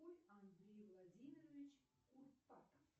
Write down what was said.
андрей владимирович курпатов